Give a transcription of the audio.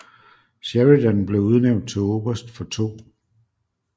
Sheridan blev udnævnt til oberst for 2